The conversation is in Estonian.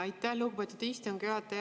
Aitäh, lugupeetud istungi juhataja!